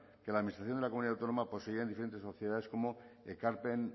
que la administración de la comunidad autónoma poseía en diferentes sociedades como ekarpen